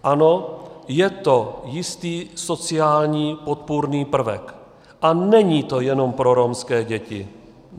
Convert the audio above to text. Ano, je to jistý sociální podpůrný prvek a není to jenom pro romské děti.